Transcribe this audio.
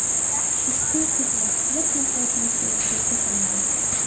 Ushbu xizmat mutlaqo bepul ko‘rsatiladi.